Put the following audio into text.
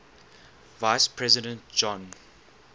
vice president john